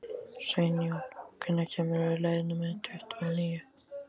Sveinjón, hvenær kemur leið númer tuttugu og níu?